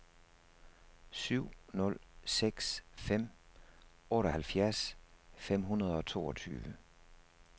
syv nul seks fem otteoghalvfjerds fem hundrede og toogtyve